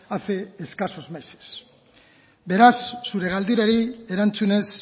hace escasos meses beraz zure galderari erantzunez